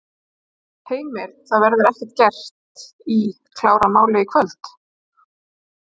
Heimir: Það verður ekki gert í, klárað málið í kvöld?